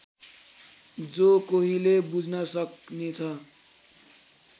जोकोहीले बुझ्न सक्नेछ